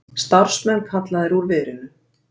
Starfsmenn kallaðir úr verinu